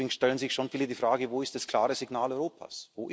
Deswegen stellen sich schon viele die Frage Wo ist das klare Signal Europas?